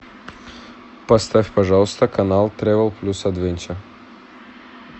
поставь пожалуйста канал тревел плюс адвенчер